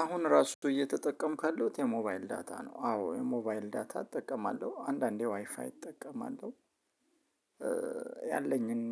አሁን እራሱ እኮ እየተጠቀምኩ ያለሁት የሞባይል ዳታ ነው አዎ የሞባይል ዳታ እጠቀማለሁ አንዳንዴ ዋይፋይ እጠቀማለሁ ያለኝን